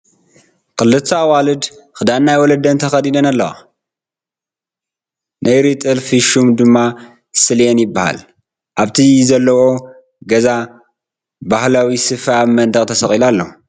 ክልተ ኣዋልድ ክዳን ናይ ወለደን ተኸዲነን ኣለዋ ነይሪ ጥልፊ ሹሙ ድማ ስልየን ይበሃል ኣብቲ ዘለዎኦ ገዛ በህላዊ ስፈ ኣብ መንደቕ ተሰቒሉ ኣሎ ።